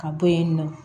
Ka bɔ yen nɔ